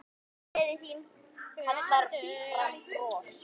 Gleðin þín kallar fram bros.